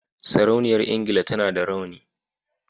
Sarauniyar engila tAna da rawani